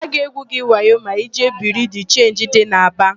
A ga-egwu gị wayo ma ịjee Biriu de Chenji dị n'Aba.